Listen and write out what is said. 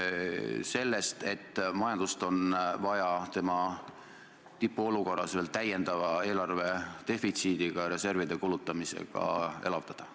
Pean silmas juttu sellest, et majandust on vaja tema tipu olukorras veel täiendava eelarvedefitsiidiga, reservide kulutamisega elavdada.